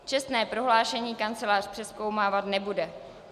Čestné prohlášení kancelář přezkoumávat nebude.